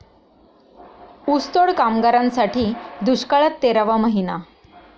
ऊसतोड कामगारांसाठी दुष्काळात तेरावा महिना